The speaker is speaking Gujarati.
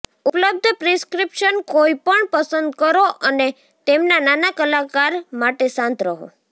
ઉપલબ્ધ પ્રિસ્ક્રિપ્શન કોઈપણ પસંદ કરો અને તેમના નાના કલાકાર માટે શાંત રહો